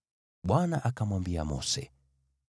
Bwana akamwambia Mose,